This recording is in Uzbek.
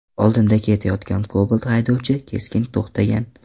Oldinda ketayotgan Cobalt haydovchi keskin to‘xtagan.